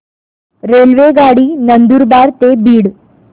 रेल्वेगाडी नंदुरबार ते बीड